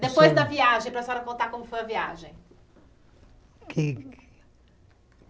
Depois da viagem, para a senhora contar como foi a viagem.